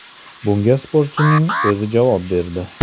Bunga sportchining o‘zi javob berdi.